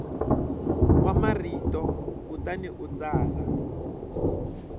wa marito kutani u tsala